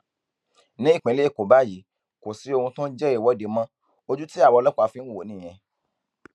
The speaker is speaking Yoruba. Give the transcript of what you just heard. nípínlẹ èkó báyìí kò sí ohun tó ń jẹ ìwọde mọ ojú tí àwa ọlọpàá fi ń wò ó nìyẹn